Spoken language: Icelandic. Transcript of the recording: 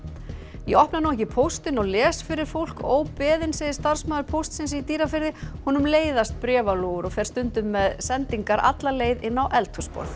ég opna nú ekki póstinn og les fyrir fólk óbeðinn segir starfsmaður Póstsins í Dýrafirði honum leiðast bréfalúgur og fer stundum með sendingar alla leið inn á eldhúsborð